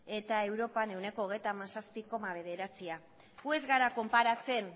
eta europan ehuneko hogeita hamazazpi koma bederatzia gu ez gara konparatzen